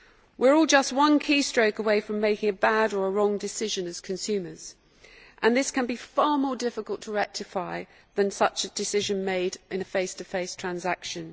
We are all just one keystroke away from making a bad or a wrong decision as consumers and this can be far more difficult to rectify than such a decision made in a face to face transaction.